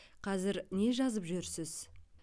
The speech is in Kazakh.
қазір не жазып жүрсіз